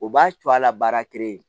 O b'a co a la baara